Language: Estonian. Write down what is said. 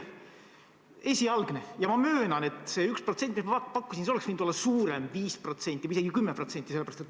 Minu ettepanek oli esialgne ja ma möönan, et see 1%, mis ma pakkusin, oleks võinud olla ka suurem, näiteks 5% või isegi 10%.